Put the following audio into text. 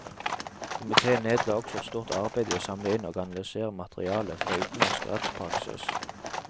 Komiteen nedla også et stort arbeid i å samle inn og analysere materiale fra utenlandsk rettspraksis.